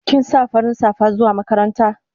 Kin sa farin safa zuwa makaranta?